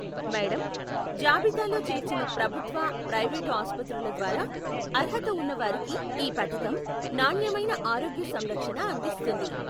Madam, జాబితాలో చేర్చిన ప్రభుత్వ, ప్రైవేటు ఆస్పత్రుల ద్వారా అర్హత ఉన్నవారికి ఈ పధకం నాణ్యమైన ఆరోగ్య సంరక్షణ అందిస్తుంది.